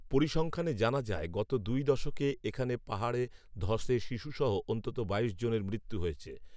পরিসংখ্যানে জানা যায়, গত দুই দশকে এখানে পাহাড়ে ধসে শিশুসহ অন্তত বাইশ জনের মৃত্যু হয়েছে